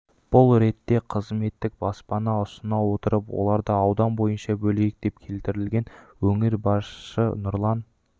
бұл ретте қызметтік баспана ұсына отырып оларды аудан бойынша бөлейік деп келтірілген өңір басшысы нұрлан